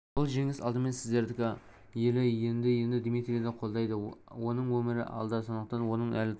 бұл жеңіс алдымен сіздердікі елі енді дмитрийді қолдайды оның өмірі алда сондықтан оның әлі талай